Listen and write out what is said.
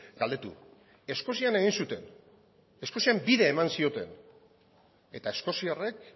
galdetu eskozian egin zuten eskozian bide eman zioten eta eskoziarrek